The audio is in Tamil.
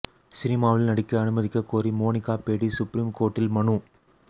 சினிமாவில் நடிக்க அனுமதிக்க கோரி மோனிகா பேடி சுப்ரீம் கோர்ட்டில் மனு